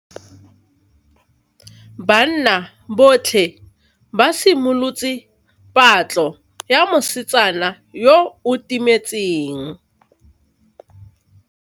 Banna botlhê ba simolotse patlô ya mosetsana yo o timetseng.